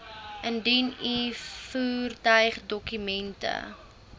indien u voertuigdokumente